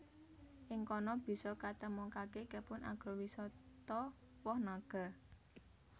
Ing kono bisa katemokaké kebun agrowisata woh naga